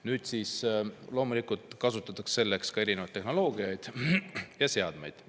Nüüd kasutatakse selleks loomulikult ka tehnoloogiat ja erinevaid seadmeid.